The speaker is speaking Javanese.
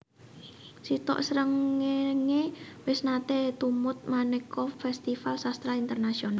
Sitok Srengenge wis nate tumut maneka festival sastra internasional